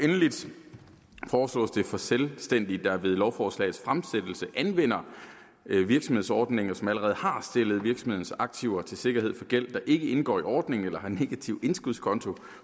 for selvstændige der ved lovforslagets fremsættelse anvender virksomhedsordningen og som allerede har stillet virksomhedens aktiver til sikkerhed for gæld der ikke indgår i ordningen eller som har en negativ indskudskonto